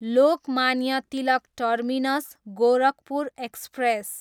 Lokmanya Tilak terminus, Gorakhpur express